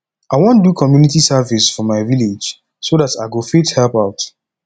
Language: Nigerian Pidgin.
i wan do community service for my village so dat i go fit help out